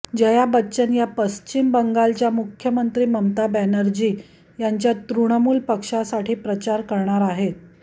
जया बच्चन या पश्चिम बंगालच्या मुख्यमंत्री ममता बॅनजी यांच्या तृणमूल पक्षासाठी प्रचार करणार आहेत